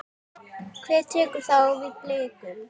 Hver tekur þá við Blikum?